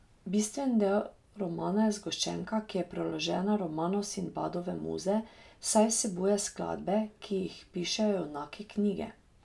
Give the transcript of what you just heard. Bistveni del romana je zgoščenka, ki je priložena romanu Sinbadove muze, saj vsebuje skladbe, ki jih pišejo junaki knjige.